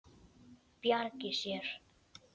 Bjargi sér.